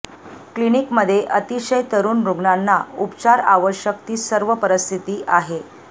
क्लिनिकमध्ये अतिशय तरुण रुग्णांना उपचार आवश्यक ती सर्व परिस्थिती आहे